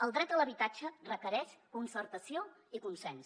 el dret a l’habitatge requereix concertació i consens